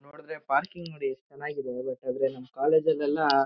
ನೋಡಿದ್ರೆ ಪಾರ್ಕಿಂಗ್ ನೋಡಿ ಎಸ್ಟ್ ಚೆನ್ನಾಗಿ ಇದೆ ಏನಂಥ ಹೇಳಿದ್ರೆ ನಮ್ ಕಾಲೇಜ್ ಲೆಲ್ಲ--